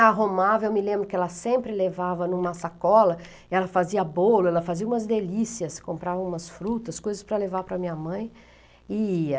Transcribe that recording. arrumava, eu me lembro que ela sempre levava em uma sacola, ela fazia bolo, ela fazia umas delícias, comprava umas frutas, coisas para levar para minha mãe, e ia.